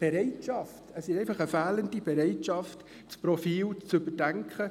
Das ist eine fehlende Bereitschaft, das Profil zu überdenken.